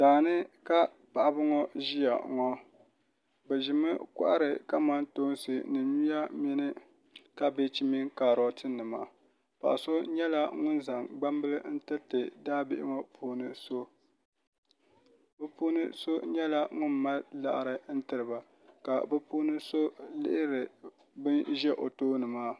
Daa ni ka paɣiba ŋɔ ʒiya ŋɔ bɛ ʒimi kɔhiri kamantoonsi ni nyuya mini kabeeji mini kaarɔtinima paɣ’ so nyɛla ŋuni zaŋ gbambila n-tiriti daabihi ŋɔ puuni so bɛ puuni so nyɛla ŋuni mali liɣiri n-tiri ba ka bɛ puuni so lihiri bana ʒe o tooni maa